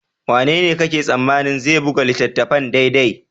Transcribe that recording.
Wanene kake tsammanin zai buga littattafan daidai?